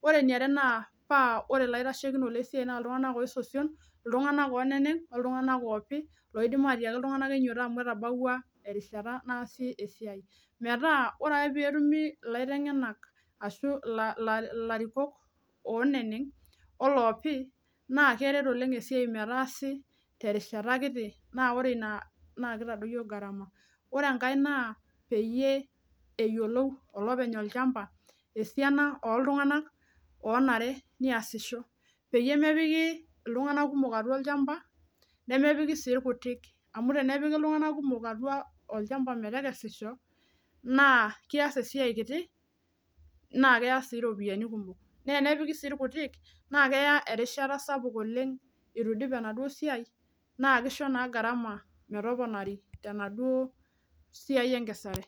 ore eniare naa peepik iltunganak ngeni , oopi esiai metaa ore peebau erishata naasi esiai nejoki iltunganak enyito amuu etabawuao nitasheki metaasa sii enaa enayiounoyu kishoru sii metaasi esiai tesiokinoto, keyiou sii neyiolou olopeny olchamba eneba iltunganak ooyiounoyu pee piki olchamba peemepiki ake olorere kutik nelaikino aidipa esiai ashu ilkumok ninyal esiai